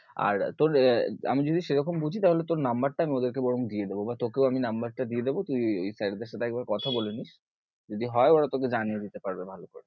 আর তোর আমি যদি সেরকম বুঝি তাহলে তোর number টা আমি ওদের কে বরং দিয়েদেব বা তোকেও আমি number টা দিয়েদেব, তুই ঐ sir দের সাথে একবার কথা বলেনিস, যদি হয়ে ওরা তোকে জানিয়ে দিতে পারবে ভালো করে।